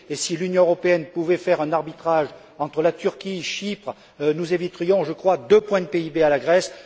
Et si l'Union européenne pouvait faire un arbitrage entre la Turquie et Chypre, nous éviterions, je crois, deux points de PIB à la Grèce.